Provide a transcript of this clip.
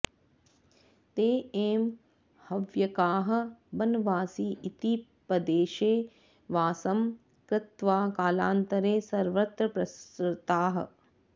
ते एव हव्यकाः बनवासि इति पदेशे वासं कृत्वा कालान्तरे सर्वत्र प्रसृताः